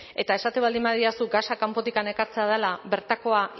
eta esaten baldin badidazu gasa kanpotik ekartzea dela bertakoa